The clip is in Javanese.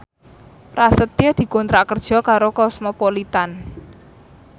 Prasetyo dikontrak kerja karo Cosmopolitan